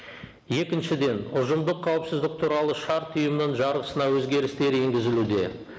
екіншіден ұжымдық қауіпсіздік туралы шарт ұйымның жарғысына өзгерістер енгізілуде